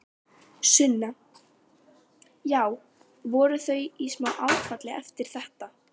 Sunna: Já, voru þau í smá áfalli eftir þetta?